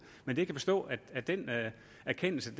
men jeg kan forstå at den erkendelse